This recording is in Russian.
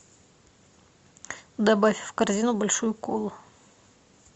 добавь в корзину большую колу